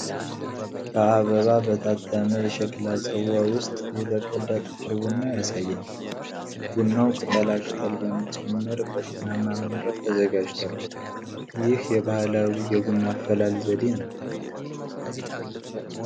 በአበባ በታተመ የሸክላ ጽዋ ውስጥ የተቀዳ ጥቁር ቡና ያሳያል። ቡናው ቅጠላቅጠል በመጨመር በጤናማ መንገድ ተዘጋጅቷል። ይህ የባህላዊ የቡና አፈላል ዘዴ ነው።